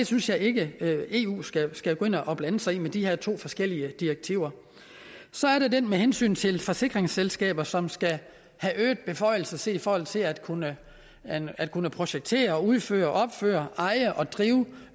synes ikke at eu skal skal gå ind og blande sig i det med de her to forskellige direktiver så er der det med hensyn til forsikringsselskaber som skal have øgede beføjelser set i forhold til at kunne at kunne projektere udføre opføre eje og drive